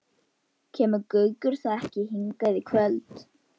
Kemur Gaukur þá ekki hingað í kvöld?